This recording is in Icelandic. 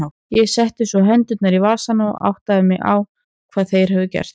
Ég setti svo hendurnar í vasana og áttaði mig á hvað þeir höfðu gert.